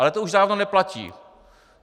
Ale to už dávno neplatí.